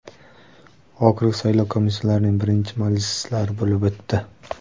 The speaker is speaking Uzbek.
Okrug saylov komissiyalarining birinchi majlislari bo‘lib o‘tdi.